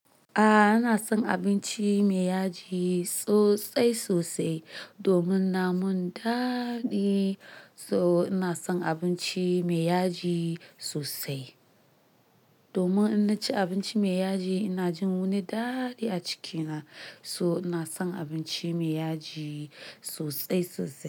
A, ina son abinci mai yaji sosai sosai domin na mun daɗi. So ina son abinci mai yaji sosai. Domin in ci abinci mai yaji, ina jin wani daɗi a cikina. So ina son abinci mai yaji sosai sosai.